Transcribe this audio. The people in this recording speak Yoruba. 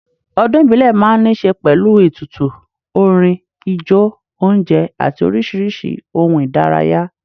Ọdún ìbílẹ̀ máa ń níṣe pẹ̀lú, ètùtù, orin, ijó, oúnjẹ àti oríṣiríṣi ohun ìdárayá